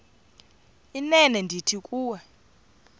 inene ndithi kuwe